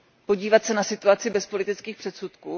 Podívat se na situaci bez politických předsudků?